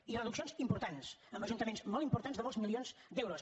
i reduccions importants amb ajuntaments molt importants de molts milions d’euros